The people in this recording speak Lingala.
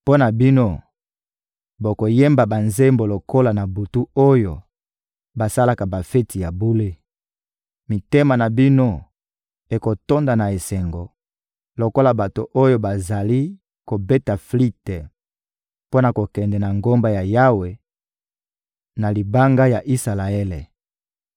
Mpo na bino, bokoyemba banzembo lokola na butu oyo basalaka bafeti ya bule; mitema na bino ekotonda na esengo lokola bato oyo bazali kobeta flite mpo na kokende na Ngomba ya Yawe, na Libanga ya Isalaele.